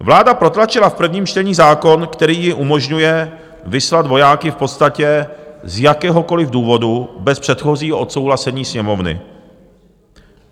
Vláda protlačila v prvním čtení zákon, který jí umožňuje vyslat vojáky v podstatě z jakéhokoliv důvodu bez předchozího odsouhlasení Sněmovny.